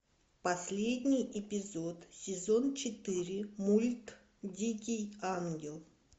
последний эпизод сезон четыре мульт дикий ангел